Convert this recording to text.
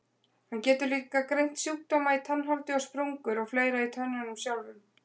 Hann getur líka greint sjúkdóma í tannholdi og sprungur og fleira í tönnunum sjálfum.